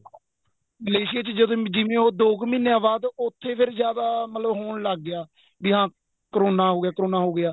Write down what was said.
Malaysia ਚ ਜਿਵੇਂ ਉਹ ਦੋ ਕ਼ ਮਹੀਨਿਆਂ ਦੇ ਬਾਅਦ ਉੱਥੇ ਫ਼ੇਰ ਜਿਆਦਾ ਹੋਣ ਲੱਗ ਗਿਆ ਵੀ ਹਾਂ ਕਰੋਨਾ ਹੋ ਗਿਆ ਕਰੋਨਾ ਹੋ ਗਿਆ